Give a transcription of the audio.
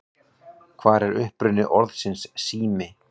Hver er uppruni orðsins sími?